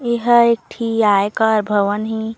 ये ह एक ठी आयकार भवन ए--